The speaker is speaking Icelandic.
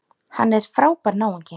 Hann er frábær náungi.